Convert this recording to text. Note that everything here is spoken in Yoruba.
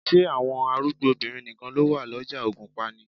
Ṣé àwọn arúgbó obìnrin nìkan ló wà lọ́jà ògùnpa ni?